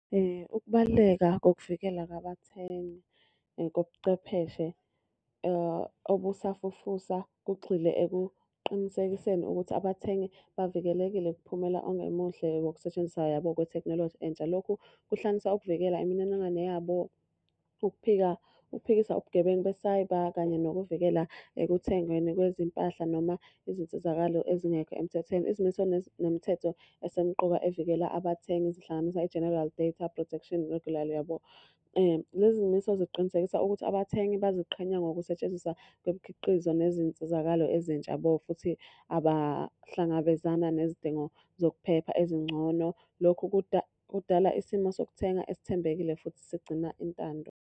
Ukubaluleka kokuvikelwa kwabathengi kobuchwepheshe obusafufusa, kugxile ekuqinisekiseni ukuthi abathengi bavikelekile kuphumela ongemuhle wokusetshenziswa yabo kwethekhnoloji entsha. Lokhu kuhlanganisa ukuvikela imininingwane yabo, ukuphika, ukuphikisa ubugebengu besayibha kanye nokuvikela ekuthengweni kwezimpahla noma izinsizakalo ezingekho emthethweni. Izimiso nemithetho esemqoka evikela abathengi, zihlanganisa i-General Data Protection Regulation yabo. Lezi miso ziqinisekisa ukuthi abathengi baziqhenye ngokusetshenziswa kwemikhiqizo nezinsizakalo ezintsha yabo futhi abahlangabezana nezidingo zokuphepha ezingcono. Lokhu kudala isimo sokuthenga esithembekile futhi sigcina intando.